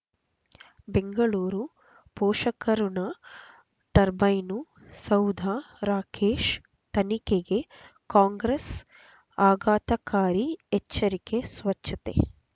ಬೆಂಗಳೂರು ಪೋಷಕಋಣ ಟರ್ಬೈನು ಸೌಧ ರಾಕೇಶ್ ತನಿಖೆಗೆ ಕಾಂಗ್ರೆಸ್ ಆಘಾತಕಾರಿ ಎಚ್ಚರಿಕೆ ಸ್ವಚ್ಛತೆ